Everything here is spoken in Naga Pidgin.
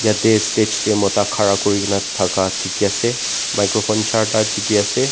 yete stage de mota ghara kuri kina daka diki ase microphone jarta diki ase.